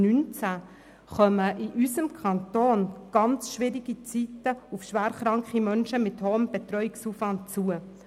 2019 kommen in unserem Kanton sehr schwierige Zeiten auf schwer kranke Menschen mit hohem Betreuungsaufwand zu.